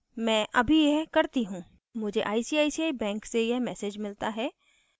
मैं अभी यह करती हूँ मुझे icici bank से यह message मिलता है